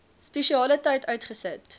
spesiale tyd uitgesit